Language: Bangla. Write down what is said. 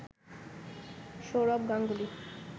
সৌরভ গাঙ্গুলি